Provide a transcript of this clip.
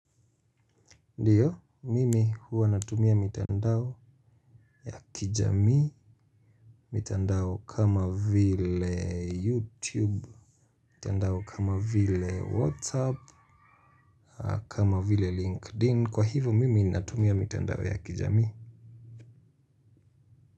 Ndiyo, mimi huwa natumia mitandao ya kijamii, mitandao kama vile YouTube, mitandao kama vile WhatsApp, kama vile LinkedIn. Kwa hivo mimi natumia mitandao ya kijamii.